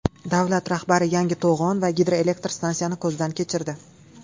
Davlat rahbari yangi to‘g‘on va gidroelektr stansiyani ko‘zdan kechirdi.